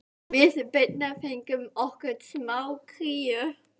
Við Birna fengum okkur smá kríu.